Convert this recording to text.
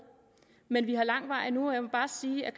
men vi har lang vej endnu og jeg må bare sige at